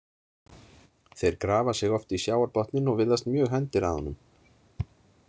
Þeir grafa sig oft í sjávarbotninn og virðast mjög hændir að honum.